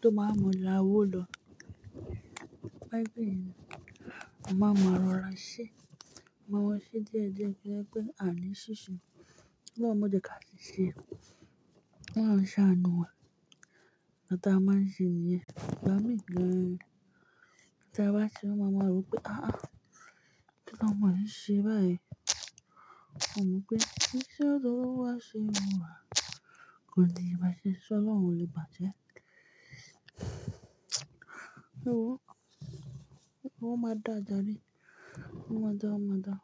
tó máa wa mọlà owò lọ. Ẹbí ò mọ̀ mọ́ra ṣe, máa wọ̀ ṣe díẹ̀ díẹ̀ kí ó tó pé àní ṣíṣe. Mo mo dẹ̀ ka ṣiṣe k'Ọ́lọ́un ṣàánú wa Táa máa ń ṣe nìyẹn. Ìgbà míì gan-an. Táa bá ṣeé, wọ́n máa máa ròó pé, "Á á, kí l'ọmọ yìí ṣe báyìí?" Ó mọ wípé, "Kí ni ṣe ọ̀dọ̀ Olúwa ṣe wù wá?" Kò di ba ṣe ṣ'Ọ́lọ́un ò lè bàá jẹ́? Ó máa dáa jàre, ó máa dáa, ó máa dáa.